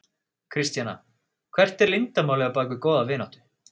Kristjana: Hvert er leyndarmálið á bak við góða vináttu?